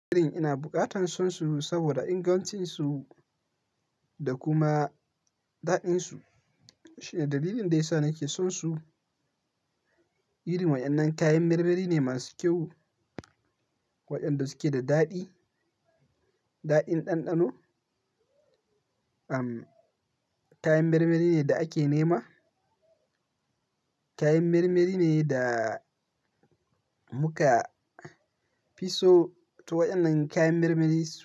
Ina bukatan son su saboda ingancinsu da kuma daɗinsu. Shine dalilin da yasa nake son su. Irin waɗannan kayan marmari ne masu kyau, waɗanda suke da daɗi, daɗin ɗanɗano. Am, kayan marmari ne da ake nema. Kayan marmari ne da muka fi so, to waɗannan kayan marmari su.